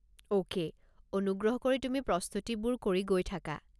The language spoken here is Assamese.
অ'কে, অনুগ্ৰহ কৰি তুমি প্ৰস্তুতিবোৰ কৰি গৈ থাকা।